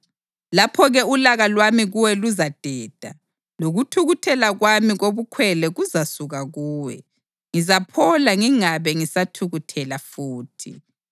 Lapho-ke ulaka lwami kuwe luzadeda, lokuthukuthela kwami kobukhwele kuzasuka kuwe; ngizaphola ngingabe ngisathukuthela futhi.